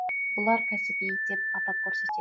бұлар кәсіби деп атап көрсетед